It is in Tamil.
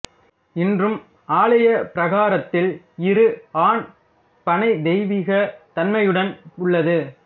இன்றும் ஆலய பிரகாரத்தில் இரு ஆண் பனை தெய்வீக தன்மையுடன் உள்ளது